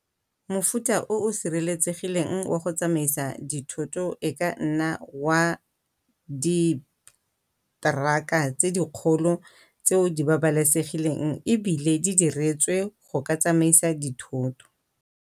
Mofuta o o sireletsegileng wa go tsamaisa dithoto e ka nna wa di-truck-a tse di kgolo tseo di babalesegileng ebile di diretswe go ka tsamisa dithoto.